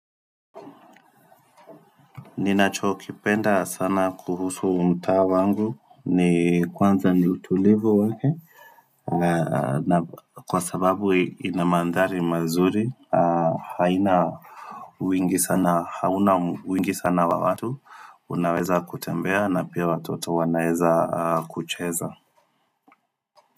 Ninacho kipenda sana kuhusu mtaa wangu ni kwanza ni utulivu wake na kwa sababu inamandhari mazuri haina wingi sana hauna wingi sana wa watu Unaweza kutembea na pia watoto wanaweza kucheza.